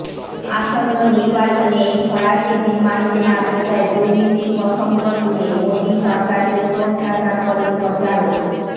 আসন্ন নির্বাচনে এই ফরাসি বিমান কেনাবেচায় দুর্নীতির প্রসঙ্গ তুলে মোদী সরকারকে কোণঠাসা করে প্রচারও